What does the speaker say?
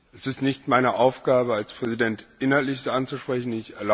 Es ist nicht meine Aufgabe als Präsident, Inhaltliches anzusprechen.